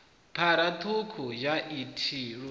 phara ṱhukhu ya i luthihi